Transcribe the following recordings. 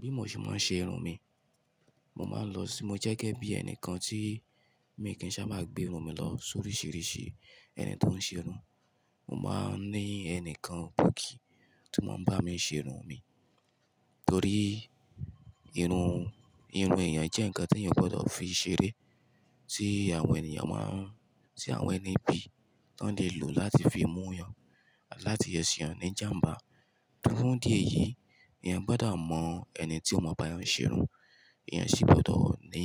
Bí mò ṣe máa ń ṣe irun mi, mo máa ń lọ sí mo jẹ́ gẹ́gẹ́ bí ẹnìkan tí mi kì í sá máa gbé irun mi lọ sóríṣìíríṣìí ẹni tó ń ṣe irun. Mo máa ń ní ẹni kan, kòkì tí ó máa ń bá mi ṣe irun mi. Torí irun, irun èèyàn jẹ́ ǹkan tí èèyàn gbọdọ̀ fi ṣeré, tí àwọn èèyàn máa ń, tí àwọn ẹni ibí, wọ́n lè lò láti fi mú yàn, láti yẹ sí yàn ní ìjàǹbá. Funfun díẹ̀ yìí, èèyàn gbọdọ̀ mọ ẹni tí ó máa bá yàn ṣe irun, èèyàn sì gbọdọ̀ ní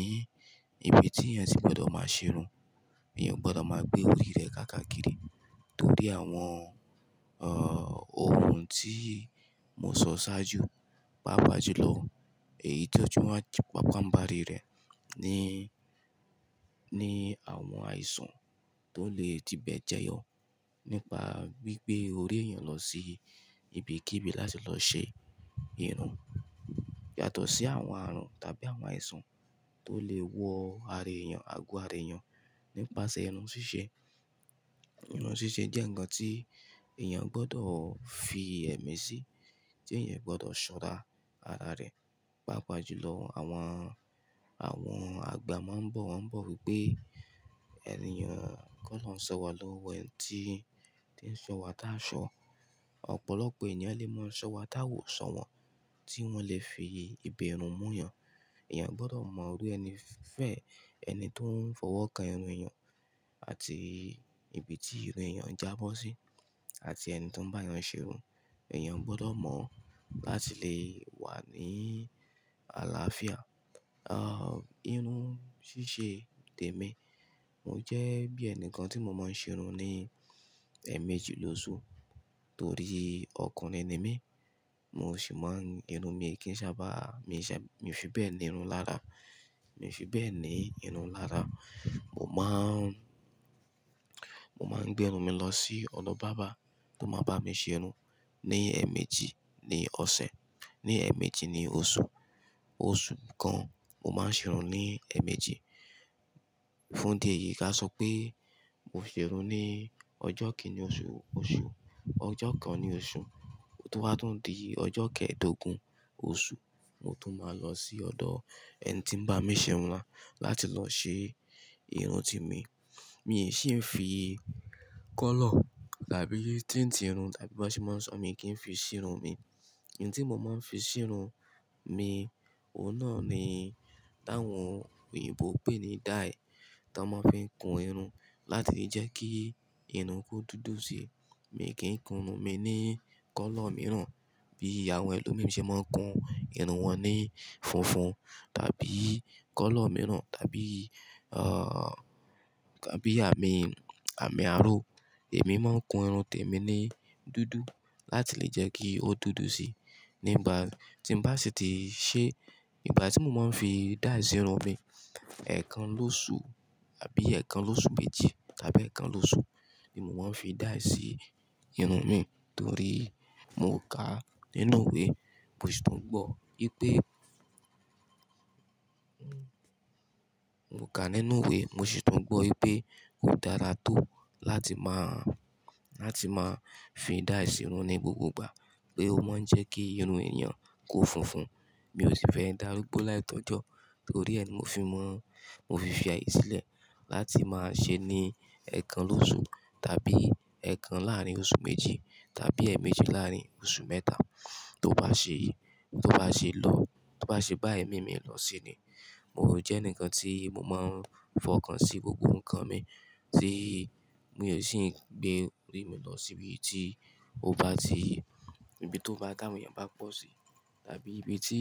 ibi tí èèyàn sì gbọdọ̀ máa ṣe irun. Èèyàn gbọdọ̀ máa gbé orí rẹ̀ káàkiri, torí àwọn, àh, ohun tí mo sọ ṣáájú, pàápàá jùlọ èyí tí ó jù wá, pàápàá ń ba rí rẹ̀ ni, ni àwọn àìsàn tó lè ti bẹ́ẹ̀ jẹyọ nípa gbé orí ẹ̀yàn lọ sí ibi kí ibi láti lọ ṣe irun. Yàtọ̀ sí àwọn àrùn tàbí àwọn àìsàn tó lè wọ ara èèyàn, ago ara èèyàn nípasẹ̀ irun ṣíṣe. Irun ṣíṣe jẹ́ ǹkan tí èèyàn gbọdọ̀ fi ẹ̀mí sí, tí èèyàn gbọdọ̀ ṣọ́ra ara rẹ̀. Pàápàá jùlọ àwọn, àwọn àgbà máa ń bọ̀, wọ́n ń bọ̀ wípé èèyàn kọ́ lọ sọ́wọ́ lọ́wọ́ ẹni tí ń, tí ń sọ́wọ́ tá aṣọ. Ọ̀pọ̀lọpọ̀ èèyàn lè mọ sọ́wọ́ tá wo sọ̀wọ́n tí wọ́n lè fi ibi irun mú yàn. Ẹ̀yàn gbọdọ̀ mọ orí ẹni fẹ̀ ẹni tó ń fọwọ́ kan irun èèyàn àti ibi tí irun èèyàn jábọ́ sí, àti ẹni tó ń bá yàn ṣe irun. Ẹ̀yàn gbọdọ̀ mọ láti lè wà ní àlàáfíà. Àh, irun ṣíṣe tèmi, mò jẹ́ bí ẹnìkan tí mò máa ń ṣe irun ní èèmejì lóṣù, torí ọkùnrin ni mí. Mo sì máa ń, irun mi kì í sábà, mi ò fi bẹ́ẹ̀ ní irun lára. Mi ò fi bẹ́ẹ̀ ní irun lára. Mo máa ń, mo máa ń gbé irun mi lọ sí ọ̀nà bàbá tó máa bá mi ṣe irun ní èèmejì ní ọ̀sẹ̀, ní èèmejì ní oṣù. Oṣù kan, mo máa ń ṣe irun ní èèmejì. Fún dí ẹ̀yìí ká sọ pé mo ṣe irun ní ọjọ́ kìn-ínní oṣù, oṣù, ọjọ́ kan ní oṣù. Tó wá tán di ọjọ́ kẹẹ̀dógún oṣù, mo tún máa lọ sí ọ̀dọ̀ ẹni tí ń bá mi ṣe irun wa láti lọ ṣe irun ti mi. Mi sì ń fi kọ́lọ̀ tàbí tíntirun tàbí bí wọ́n sì máa ń sọ, mi kì í fi ṣe irun mi. Ẹ̀yín tí mò máa ń fi ṣe irun mi, òun náà ni táwọn òyìnbó pè ní dye tó máa ń fi kun irun láti lè jẹ́ kí irun kú dúdú síi. Mi kì í kun irun mi ní kọ́lọ̀ mìíràn bí àwọn ẹlòmíràn ṣe máa ń kun irun wọn ní funfun tàbí kọ́lọ̀ mìíràn tàbí, àh, tàbí àmì, àmì àárọ̀. Èmi máa ń kun irun tèmi ní dúdú láti lè jẹ́ kí ó dúdú síi. Nígbà tí mò bá sì ti ṣe, ìgbà tí mò máa ń fi dáì ṣe irun mi, ẹ̀ẹkan lóṣù tàbí ẹ̀ẹkan lóṣù méjì tàbí ẹ̀ẹkan lóṣù ni mò máa ń fi dáì ṣe irun mi torí mò ka nínú ìwé, mò sì tún gbọ́ pé, mò kà nínú ìwé, mò sì tún gbọ́ pé ó dára tó láti máa, láti máa fi dáì ṣe irun ní gbogbo ìgbà pé ó máa ń jẹ́ kí irun èèyàn kó funfun. Mi ò sì fẹ́ darúgbó láì tọ́jọ́ torí ẹni mo fi mọ̀, mo fi fi àìsílẹ̀ láti máa ṣe ní ẹ̀ẹkan lóṣù tàbí ẹ̀ẹkan láàárín oṣù méjì tàbí èèmejì láàárín oṣù mẹ́ta. Tó bá ṣe, tó bá ṣe lọ, tó bá ṣe bá ẹ̀mí mi lọ sí í ni. Mo jẹ́ èni kan tí mò máa ń fọkàn sí gbogbo ǹkan mi tí mi ò sì ń gbé orí mi lọ síbi tí ó bá ti, ibi tí ó bá dáwọn èèyàn bá pọ̀ sí tàbí ibi tí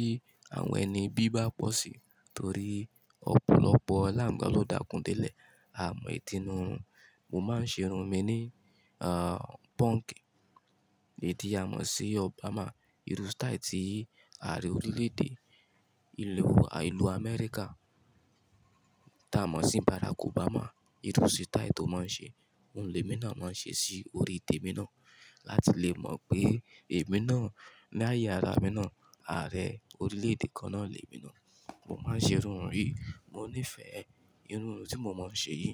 àwọn ẹni bí bá pọ̀ sí torí ọ̀pọ̀lọpọ̀ láàmú ló dàkún dẹ́lẹ̀. A mọ ìtìnú irun. Mo máa ń ṣe irun mi ní, àh, punk. Ẹ di a mọ̀ sí Obama, irú style tí ààrẹ orílẹ̀-èdè ìlú, ìlú Amẹ́ríkà tá a mọ̀ sí Barack Obama, irú style tó máa ń ṣe, òun lè mọ̀nà máa ń ṣe sí orí tèmi náà láti lè mọ̀ pé èmi náà, láyé ara mi náà, ààrẹ orílẹ̀-èdè kan náà lè mi náà. Mo máa ń ṣe irun yìí, mò ní ìfẹ́ ẹ. Irun yìí tí mò máa ń ṣe yìí,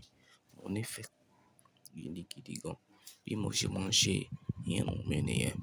mò ní ìfẹ́ ìdí gidi gan-an bí mò sì máa ń ṣe irun mi nìyẹn.